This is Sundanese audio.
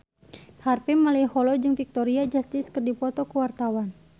Harvey Malaiholo jeung Victoria Justice keur dipoto ku wartawan